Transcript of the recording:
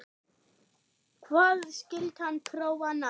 Hvað skyldi hann prófa næst?